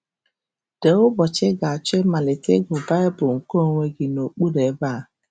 Dee ụbọchị ị ga - achọ ịmalite ịgụ Baịbụl nke onwe gị n’okpuru ebe a.